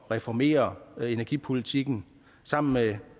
reformere energipolitikken sammen med